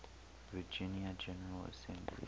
virginia general assembly